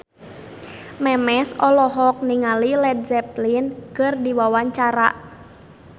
Memes olohok ningali Led Zeppelin keur diwawancara